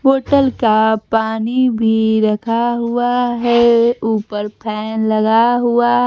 बोतल का पानी भी रखा हुआ है ऊपर फैन लगा हुआ--